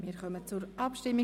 Wir kommen zur Abstimmung.